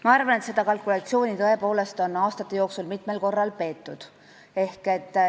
Ma arvan, et seda kalkulatsiooni on aastate jooksul tõepoolest mitu korda tehtud.